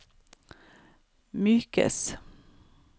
mykes